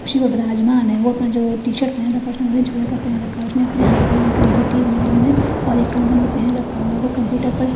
ओ आपने जो टीशर्ट पेहेन रखा है उसने ओरजन कलर का पेहेन रखा है उसने अपने एक हाथ में अंगूठी है उंगली में और एक कंगन भी पेहेन रखा हुआ है ओ कंप्यूटर पर--